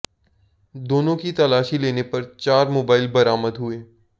दोनों की तलाशी लेने पर चार मोबाइल बरामद हुए